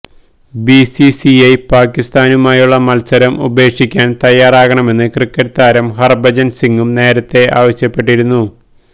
B C C I പാക്കിസ്ഥാനുമായുള്ള മത്സരം ഉപേക്ഷിക്കാന് തയ്യാറാകണമെന്ന് ക്രിക്കറ്റ് താരം ഹര്ഭജന് സിംഗും നേരത്തെ ആവശ്യപ്പെട്ടിരുന്നു